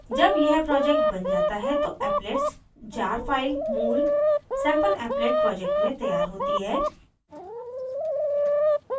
जब यह project now जाता है तो applets jar file मूल sampleapplet project में तैयार होती है